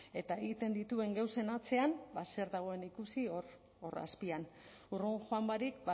eta egiten dituen gauzen atzean ba zer dagoen ikusi hor hor azpian urrun joan barik